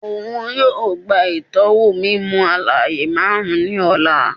Oun yoo gba itọwo mimu-alaaye marun ni ọla